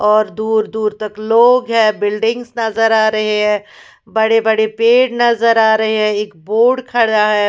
और दूर दूर तक लोग हैं बिल्डिंग्स नजर आ रही हैं बड़े बड़े पेड़ नजर आ रहे हैं एक बोर्ड खड़ा हैं।